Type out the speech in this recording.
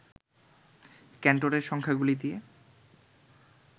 ক্যান্টরের সংখ্যাগুলি দিয়ে